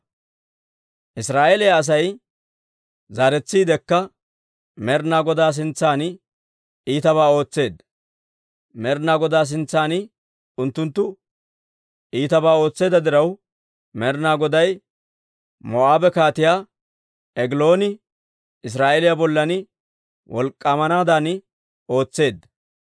Israa'eeliyaa Asay zaaretsiidekka Med'inaa Godaa sintsan iitabaa ootseedda. Med'inaa Godaa sintsan unttunttu iitabaa ootseedda diraw, Med'inaa Goday Moo'aabe Kaatiyaa Egilooni Israa'eeliyaa bollan wolk'k'aamanaadan ootseedda.